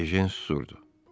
Ejen susdu.